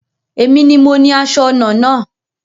Èmi ni mo ni aṣọ ọnà náà